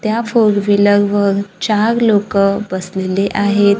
त्या four wheeler वर चार लोकं बसलेली आहेत.